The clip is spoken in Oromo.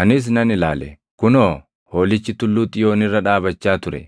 Anis nan ilaale; kunoo, Hoolichi Tulluu Xiyoon irra dhaabachaa ture;